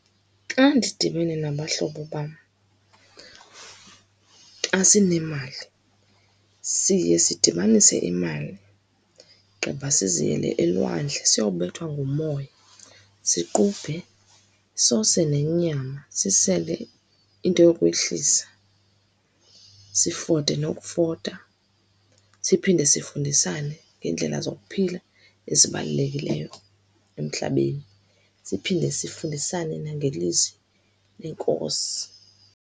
Xa ndidibene nabahlobo bam, xa sinemali, siye sidibanise imali, gqiba siziyele elwandle, siyobethwa ngumoya, siqubhe, sose nenyama, sisele into yokwehlisa, sifote nokufota, siphinde sifundisane ngeendlela zokuphila ezibalulekileyo emhlabeni, siphinde sifundisane nangeLizwi leNkosi.